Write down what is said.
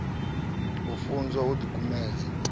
u funzwa u ḓi kumedzela